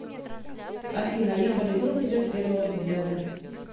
афина я полюбил тебя с первого взгляда